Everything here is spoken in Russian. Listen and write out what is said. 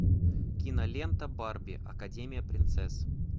кинолента барби академия принцесс